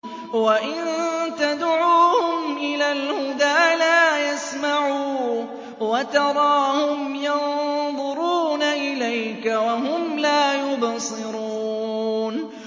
وَإِن تَدْعُوهُمْ إِلَى الْهُدَىٰ لَا يَسْمَعُوا ۖ وَتَرَاهُمْ يَنظُرُونَ إِلَيْكَ وَهُمْ لَا يُبْصِرُونَ